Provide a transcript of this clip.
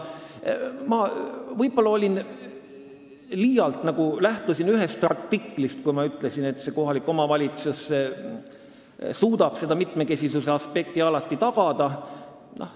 Ma lähtusin võib-olla liialt ühest artiklist, kui ma ütlesin, et kohalik omavalitsus suudab mitmekesisuse aspekti alati tagada.